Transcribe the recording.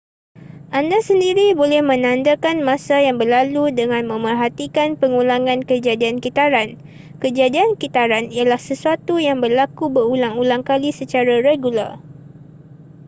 anda sendiri boleh menandakan masa yang berlalu dengan memerhatikan pengulangan kejadian kitaran kejadian kitaran ialah sesuatu yang berlaku berulang-ulang kali secara regular